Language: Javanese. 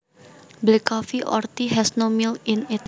Black coffee or tea has no milk in it